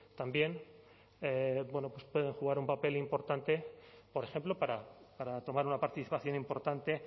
también bueno pues pueden jugar un papel importante por ejemplo para tomar una participación importante